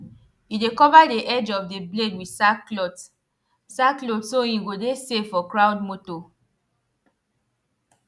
e dey cover the edge of the blade with sack cloth sack cloth so hin go de safe for crowd motor